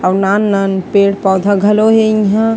अऊ नान-नान पेड़-पौधा घलो हे इहाँ--